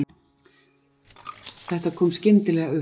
Þetta kom skyndilega upp